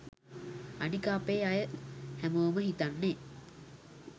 අනික අපේ අය හැමෝම හිතන්නේ